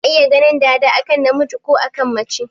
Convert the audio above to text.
Ana iya ganin dada a kan namiji ko a kan mace.